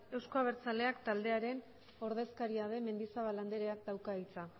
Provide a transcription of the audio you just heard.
euzko abertzaleak taldearen ordezkaria den mendizabal andreak dauka hitza